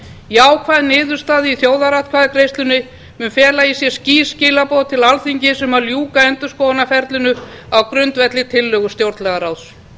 jákvæð niðurstaða í þjóðaratkvæðagreiðslunni mun fela í sér skýr skilaboð til alþingis um að ljúka endurskoðunarferlinu á grundvelli tillögu stjórnlagaráðs